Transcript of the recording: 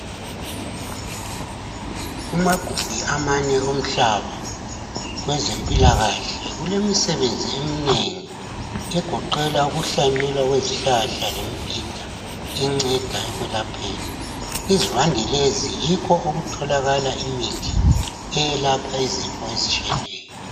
Kumagumbi amane omhlaba kwezempilakahle kulemisebenzi eminengi egoqela ukuhlanyelwa kwesihlahla lemibhida enceda ekwelapheni. Izivande lezi yikho okutholakala imithi eyelapha izifo ezitshiyeneyo.